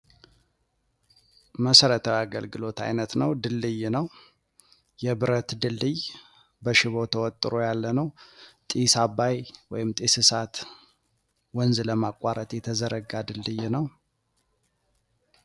መሰረታዊ የአገልግሎት አይነት ነው ።ድልድይ ነው። የብረት ድልድይ በሽቦ ተወጥሮ ያለ ነው። ጢስ አባይ ወይም ጢስ እሳት ወንዝ ለማቋረጥ የተዘረጋ ድልድይ ነው ።